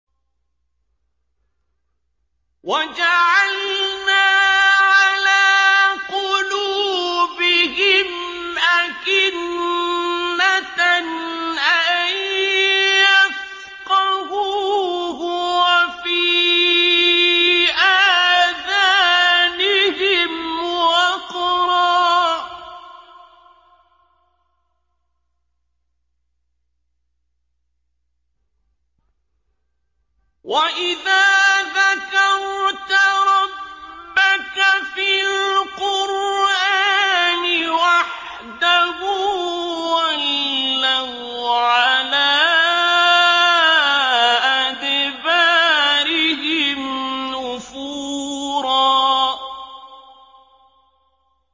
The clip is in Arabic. وَجَعَلْنَا عَلَىٰ قُلُوبِهِمْ أَكِنَّةً أَن يَفْقَهُوهُ وَفِي آذَانِهِمْ وَقْرًا ۚ وَإِذَا ذَكَرْتَ رَبَّكَ فِي الْقُرْآنِ وَحْدَهُ وَلَّوْا عَلَىٰ أَدْبَارِهِمْ نُفُورًا